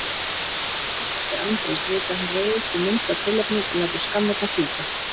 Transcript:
Allir sem þekkja Andrés vita að hann reiðist við minnsta tilefni og lætur skammirnar fjúka.